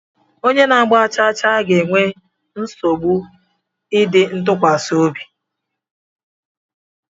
Onye na-agba chaachaa ga-enwe nsogbu ịdị ntụkwasị obi